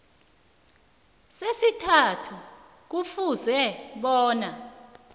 sesithathu kufuze bona